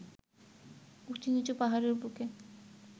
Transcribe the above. উঁচু-নিচু পাহাড়ের বুকে